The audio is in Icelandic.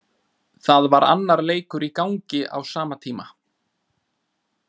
Það var annar leikur í gangi á sama tíma.